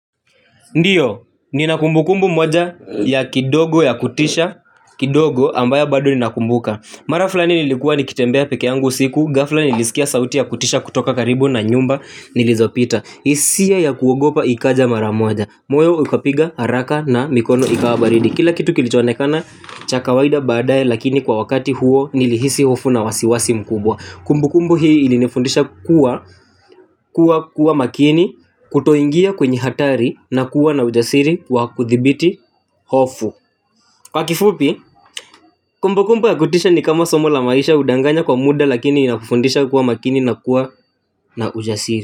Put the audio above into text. Ndiyo, ninakumbukumbu moja ya kidogo ya kutisha, kidogo ambao bado ninakumbuka. Marafulani nilikuwa nikitembea pekeeyangu siku, gafla nilisikia sauti ya kutisha kutoka karibu na nyumba, nilizopita. Hisia ya kuogopa ikaja maramoja, moyo ukapiga haraka na mikono ikawabaridi. Kila kitu kilichoonekana chakawaida baadaye lakini kwa wakati huo nilihisi hofu na wasiwasi mkubwa. Kumbu kumbu hii ilinifundisha kuwa kuwa kuwa makini. Kutoingia kwenye hatari na kuwa na ujasiri kwa kuthibiti Hofu. Kwa kifupi kumbu kumbu yakutisha ni kama somo la maisha hudanganya kwa muda. Lakini inafundisha kuwa makini na kuwa na ujasiri.